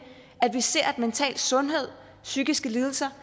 at se mental sundhed psykiske lidelser